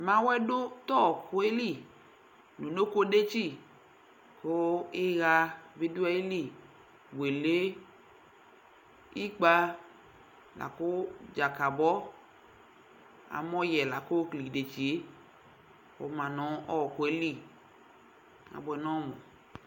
Mawʋɛ dʋ t'ɔɔkʋɛ li n'unokodetsi, kʋ ɩɣa bɩ dʋ ayili; wele , ikpǝ, lakʋ dzakabɔ Amɔyɛ la k'ookele idesie kɔma n'ɔɔkʋe li , abʋɛ n'ɔmʋ